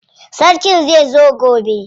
Sarkin zai zo gobe.